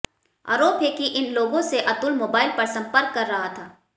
आरोप है कि इन लोगों से अतुल मोबाइल पर संपर्क कर रहा था